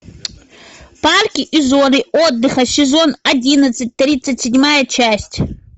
парки и зоны отдыха сезон одиннадцать тридцать седьмая часть